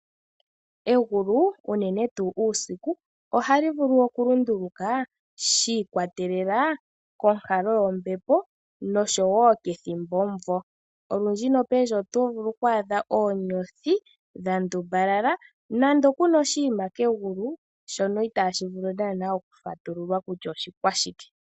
Egulu unenen tuu uusiku ohali vulu okulunduluka shi ikwatelela konkalo yombepo osho wo kethimbomuvo. Olundji nopendji oto vulu oku adha oonyothi dha ndumbalala nenge ku na oshinima kegulu shono itaashi vulu naanaa okufatululwa kutya oshikwashike.